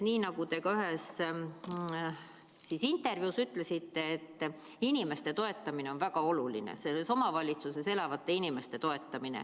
Nii nagu te ühes intervjuus ütlesite, inimeste toetamine on väga oluline, selles omavalitsuses elavate inimeste toetamine.